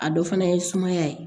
A dɔ fana ye sumaya ye